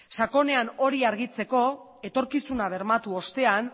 sakonean hori argitzeko etorkizuna bermatu ostean